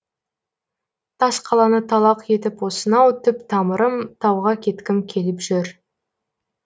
тас қаланы талақ етіп осынау түп тамырым тауға кеткім келіп жүр